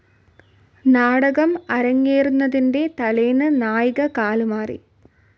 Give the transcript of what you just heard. നാടകം അരങ്ങേറുന്നതിൻ്റെ തലേന്ന് നായിക കാലുമാറി.